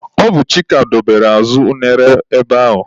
Ọ bụ Chika dobere azụ unere ebe ahụ.